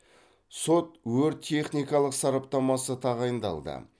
сот өрт техникалық сараптамасы тағайындалды